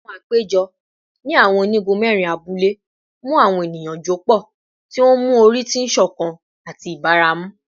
Awọn apejọpọ ni awọn onigun mẹrin abule mu awọn eniyan jọpọ, ti o nmu ori ti iṣọkan ati ibaramu